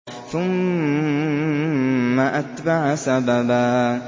ثُمَّ أَتْبَعَ سَبَبًا